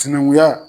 Sinankunya